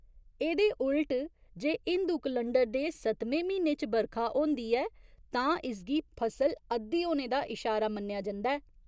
एह्दे उल्ट जे हिंदु कलंडर दे सतमें म्हीने च बरखा होंदी ऐ तां इसगी फसल अद्धी होने दा इशारा मन्नेआ जंदा ऐ।